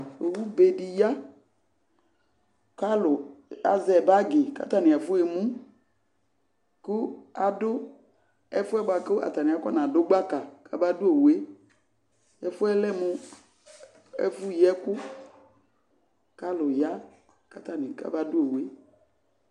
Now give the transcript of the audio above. Owube dɩ ya kʋ alʋ azɛ bagɩ kʋ atanɩ afɔɣa emu kʋ adʋ ɛfʋ yɛ bʋa kʋ atanɩ akɔnadʋ gbaka kamadʋ owu yɛ Ɛfʋ yɛ lɛ mʋ ɛfʋyi ɛkʋ kʋ alʋ ya kʋ atanɩ kamadʋ owu yɛ